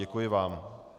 Děkuji vám.